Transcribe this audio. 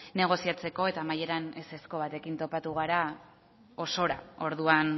negoziatzeko eta amaieran ezezko batekin topatu gara osora orduan